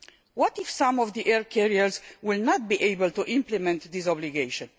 What if some of the air carriers are not able to implement this obligation?